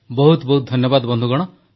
ବହୁତ ବହୁତ ଧନ୍ୟବାଦ ବନ୍ଧୁଗଣ ଧନ୍ୟବାଦ